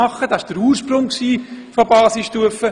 Solche Überlegungen standen am Ursprung der Basisstufe.